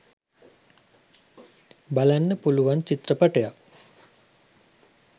බලන්න පුලුවන් චිත්‍රපටයක්.